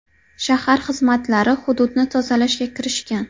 Shahar xizmatlari hududni tozalashga kirishgan.